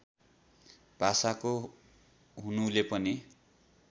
भाषाको हुनुले पनि